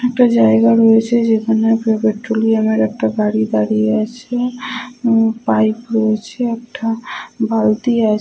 একটা জায়গা রয়েছে যেখানে পেট্রোলিয়াম একটা গাড়ি দাঁড়িয়ে আছে । পাইপ রয়েছে একটা বালতি আছে ।